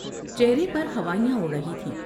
چہرے پر ہوائیاں اڑ رہی تھیں ۔